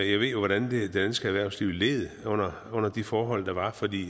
jo hvordan det danske erhvervsliv led under under de forhold der var fordi